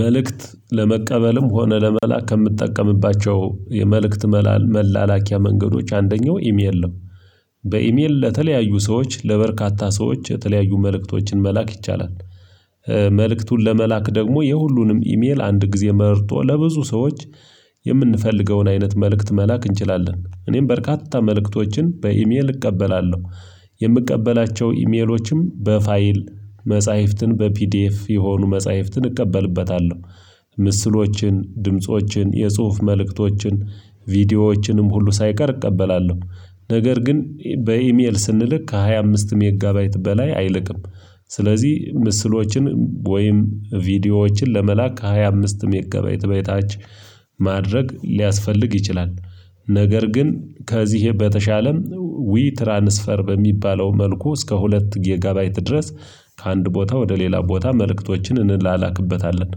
መልእክት ሐምቀበለም ሆነ ለመላከ ከምትጠቀምባቸው የመልእክት መላኪያ መንገዶች አንደኛው ኢሜል ነው። በኢሜል ለተለያዩ ሰዎች ለበርካታ ሰዎች የተለያዩ መልእክቶችን መላክ ይቻላል። መልእክቱን ለመላክ ደግሞ የሁሉንም ኢሜል አንድ ጊዜ መርጦ ለብዙ ሰዎች የምንፈልገውን አይነት መልእክት መላክ እንችላለን እኔም በርካታ መልእክቶችን በኢሜል እቀበላለሁ። የምቀበላቸው ኢሜሎችም በፋይል መጽሐፍትን በፒዲኤፍ የሆኑ መጽሐፍትን እቀበልበታለሁ። ምስሎችን ድምፆችን የጽሁፍ መልእክቶችን ቪዲዮዎችንም ሁሉ ሳይቀር እቀበላለሁ። ነገር ግን በኢሜል ስንልክ ከሃያ አምስት ሜጋ ባይት በላይ አይልክም። ስለዚህ ምስሎችን ወይም ቪዲዮዎችን ለመላክ ከ ሃያ አምስት ሜጋባይት በታች ማድረግ ሊያስፈልግ ይችላል። ነገር ግን ከዚህ በተሻለም ዊ ትራንስፈር በሚባለው መልኩ እስከ ሁለት ጌጋባይት ድረስ ከአንድ ቦታ ወደ ሌላ ቦታ መልእክቶችን እንላላክበታለን።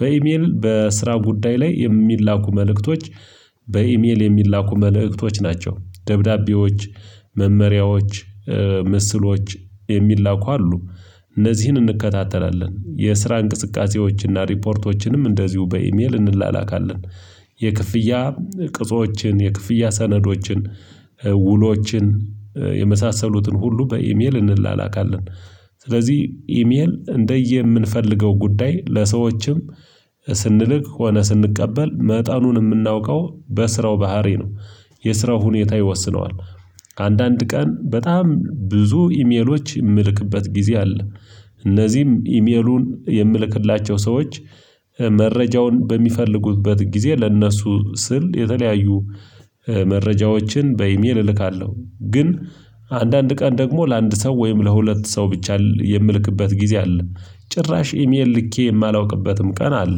በኢሜል በስራ ጉዳይ ላይ የሚላኩ መልክቶች በኢሜል የሚላኩ መልክቶች ናቸው። ደብዳቤዎች መመሪያዎች ምስሎች የሚላኩ አሉ እነዚህን እንከታተላለን የስራ እንቅስቃሴዎችና ሪፖርቶችንም እንደዚሁ በኢሜል እንላላካለን። ቅጾችን የክፍያ ሰነዶችን ውሎችን የመሳሰሉትን ሁሉ በኢሜል እንላላካለን። ስለዚህ ኢሜል እንደየምንፈልገው ጉዳይ ለሰዎችም ስንልክ ሆነ ስንቀበል መጠኑን የምናውቀው በስራው ባህሪ ነው የስራው ሁኔታ ይወስነዋል። አንዳንድ ቀን በጣም ብዙ ኢሜሎች ምልክበት ጊዜ አለ። እነዚህም ኢሜሉን የምልክላቸው ሰዎች መረጃውን በሚፈልጉበት ጊዜ ለእነሱ ስል የተለያዩ መረጃዎችን በኢሜል እልካለሁ። ግን አንዳንድ ቀን ደግሞ ለአንድ ሰው ወይም ለሁለት ሰው ብቻ የምልክበት ጊዜ አለ ጭራሽ ኢሜል ልኬ የማላውቅበትም ቀን አለ።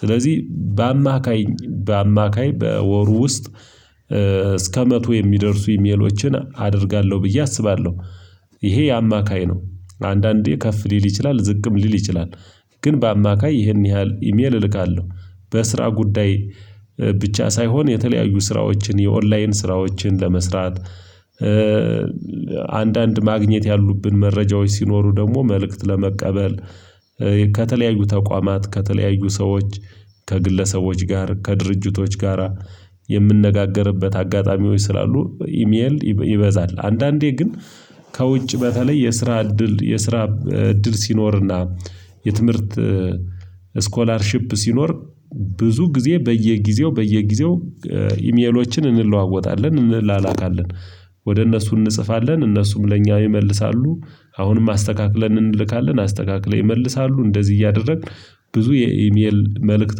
ስለዚህ በአማካይ በአማካይ በወሩ ውስጥ እስከ መቶ የሚደርሱ ኢሜሎችን አደርጋለሁ ብዬ አስባለሁ። ይሄ የአማካይ ነው። አንዳንዴ ከፍ ሊል ይችላል ዝቅም ሊል ይችላል። ግን በአማካይ ይህን ያህል ኢሜል እልካለሁ። በስራ ጉዳይ ብቻ ሳይሆን የተለያዩ ስራዎችን የኦንላይን ስራዎችን ለመስራት አንዳንድ ማግኘት ያሉብን መረጃዎች ሲኖሩ ደግሞ መልእክት ለመቀበል ከተለያዩ ተቋማት ከተለያዩ ሰዎች ከግለሰቦች ጋር ከድርጅቶች ጋራ የምንነጋገርበት አጋጣሚዎች ስላሉ ኢሜል ይበዛል። አንዳንዴ ግን ከውጭ በተለይ የስራ እድል የስራ እድል ሲኖርና የትምህርት ስኮላርሺፕ ሲኖር ብዙ ጊዜ በየጊዜው በየጊዜው ኢሜሎችን እንለዋወጣለን እንላላካለን። ወደ እነሱ እንጽፋለን እነሱም ለኛ ይመልሳሉ። አሁንም አስተካክለን እንልካለን አስተካክለው ይመልሳሉ እንደዚህ እያደረግን ብዙ የኢሜል መልእክት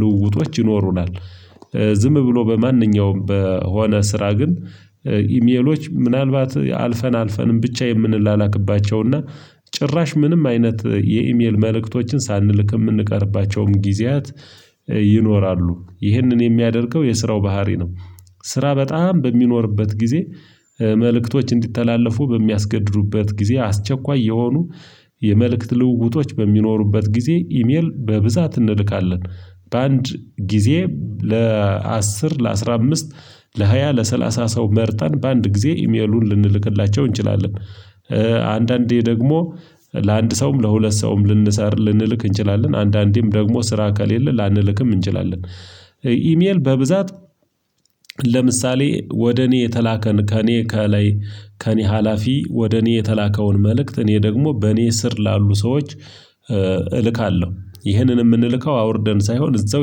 ልውውጦች ይኖሩናል። ዝም ብሎ በማንኛውም በሆነ ስራ ግን ኢሜሎች ምናልባት አልፈን አልፈንም ብቻ የምንላክባቸው እና ጭራሽ ምንም አይነት የኢሜል መልእክቶችን ሳንልክ የምንቀርባቸውም ጊዜያት ይኖራሉ ይህንን የሚያደርገው የስራው ባህሪ ነው። ስራ በጣም በሚኖርበት ጊዜ መልእክቶች እንዲተላለፉ በሚያስገዱበት ጊዜ አስቸኳይ የሆኑ የመልእክት ልውውጦች በሚኖሩበት ጊዜ ኢሜል በብዛት እንልካለን። በአንድ ጊዜ ለአስር ለአስራ አምስት ለሃያ ለሰላሳ ሰው መርጠን በአንድ ጊዜ ኢሜሉን ልንልክላቸው እንችላለን። አንዳንዴ ደግሞ ለአንድ ሰውም ለሁለት ሰውም ልንሰራ ልንልክ እንችላለን አንዳንዴም ደግሞ ስራ ከሌለ ላንልክም እንችላለን። ኢሜል በብዛት ለምሳሌ ወደ እኔ የተላከን ከእኔ ከላይ ከእኔ ሀላፊ ወደ እኔ የተላከውን መልእክት እኔ ደግሞ በእኔ ስር ላሉ ሰዎች እልካለሁ። ይህንን የምንልከው አውርደን ሳይሆን እዛው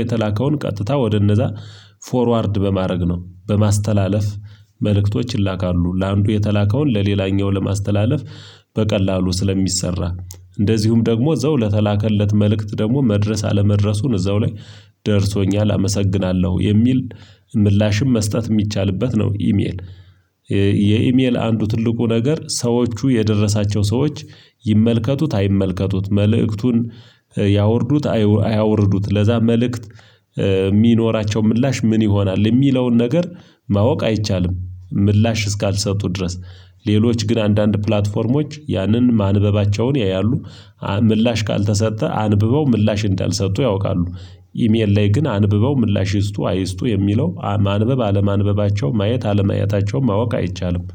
የተላከውን ቀጥታ ወደ እነዛ ፎርዋርድ በማድረግ ነው። በማስተላለፍ መልእክቶች ይላካሉ ለአንዱ የተላከውን ለሌላኛው ለማስተላለፍ በቀላሉ ስለሚሰራ። እንደዚሁም ደግሞ እዛው ለተላከለት መልእክት ደግሞ መድረስ አለመድረሱን እዛው ላይ ደርሶኛል አመሰግናለሁ የሚል ምላሽም መስጠት የሚቻልበት ነው። ኢሜል የኢሜል አንዱ ትልቁ ነገር ሰዎቹ የደረሳቸው ሰዎች ይመልከቱት አይመልከቱት መልእክቱን ያወርዱት አያወርዱት ለዛ መልእክት የሚኖራቸው ምላሽ ምን ይሆናል የሚለውን ነገር ማወቅ አይቻልም። ምላሽ እስካልሰጡ ድረስ ሌሎች ግን አንዳንድ ፕላትፎርሞች ያንን ማንበባቸውን ያያሉ። ምላሽ ካልተሰጠ አንብበው ምላሽ እንዳልሰጡ ያውቃሉ። ኢሜል ላይ ግን አንብበው ምላሽ ይስጡ አይስጡ የሚለው ማንበብ አለማንበባቸው ማየት አለማያታቸውን ማወቅ አይቻልም።